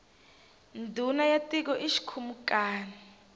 ndhuna ya tiko i xikhumukani